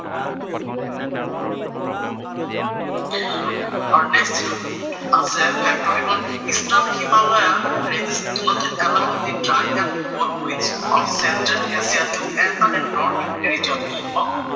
আৰু নেষ্ট যিটো আছে ফেক্টৰ সেইটো হʼল eastern Himalayan range of along dry and cold wind of central appear to Assam and north east region.